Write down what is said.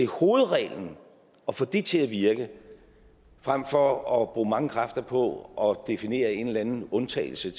hovedreglen og få det til at virke frem for at bruge mange kræfter på at definere en eller anden undtagelse